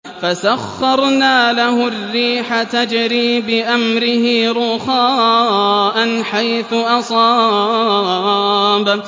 فَسَخَّرْنَا لَهُ الرِّيحَ تَجْرِي بِأَمْرِهِ رُخَاءً حَيْثُ أَصَابَ